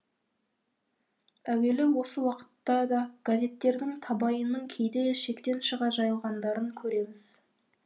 әуелі осы уақытта да газеттердің табайының кейде шектен шыға жайылғандарын көреміз